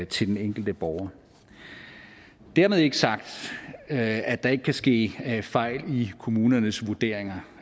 til den enkelte borger dermed ikke sagt at at der ikke kan ske fejl i kommunernes vurderinger